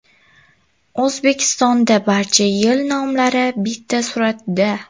O‘zbekistonda barcha yil nomlari bitta suratda.